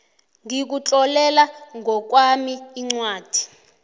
ngikutlolela ngokwami incwadi